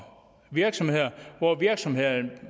virksomheder hvor virksomhederne